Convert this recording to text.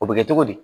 O bɛ kɛ cogo di